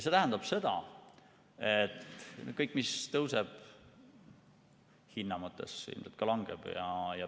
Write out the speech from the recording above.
See tähendab seda, et kõik, mis tõuseb, hinna mõttes, ilmselt ka langeb.